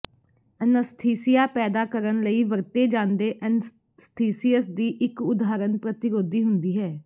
anaesthesia ਪੈਦਾ ਕਰਨ ਲਈ ਵਰਤੇ ਜਾਂਦੇ ਐਨਸਥੀਸੀਅਸ ਦੀ ਇਕ ਉਦਾਹਰਣ ਪ੍ਰਤਿਰੋਧੀ ਹੁੰਦੀ ਹੈ